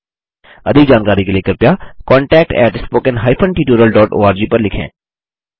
अधिक जानकारी के लिए कृपया contactspoken tutorialorg पर लिखें